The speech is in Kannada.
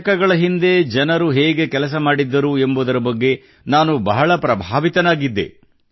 ದಶಕಗಳ ಹಿಂದೆ ಜನರು ಹೇಗೆ ಕೆಲಸಮಾಡಿದ್ದರು ಎಂಬುದರ ಬಗ್ಗೆ ನಾನು ಬಹಳ ಪ್ರಭಾವಿತನಾಗಿದ್ದೆ